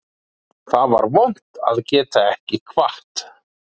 Það var vont að geta ekki kvatt